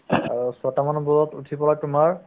ing আৰু ছয়টা বজাত উঠি পেলাই তোমাৰ